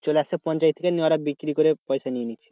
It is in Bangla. চলে আসছে পঞ্চায়েত থেকে নিয়ে বিক্রি করে পয়সা নিয়ে নিচ্ছে।